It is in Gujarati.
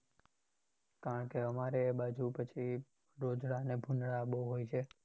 કારણ કે અમારે એ બાજુ પછી રોજડા અને ભુંડાળા બહુ હોય છે.